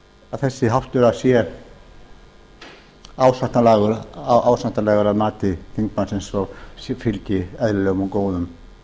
að þessi háttur sé ásættanlegur að mati þingmannsins og fylgi eðlilegum og góðum